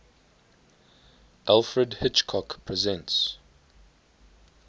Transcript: alfred hitchcock presents